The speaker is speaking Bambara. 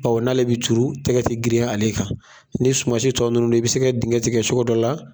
n'ale bi coron, tɛgɛ te girin ale kan. Ni suman si tɔ nunnu do i bɛ sɛ kɛ dingɛ tigɛ cogo dɔ la